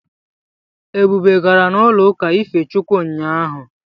Ebube gara n'ụlọụka ife Chukwu ụnyaahụ.